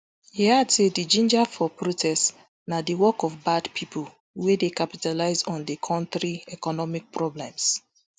e add say di ginger for protest na di work of bad pipo wey dey capitalise on di kontri economic problems